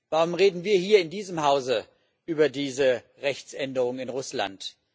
Warum reden wir hier in diesem Hause über diese Rechtsänderung in Russland?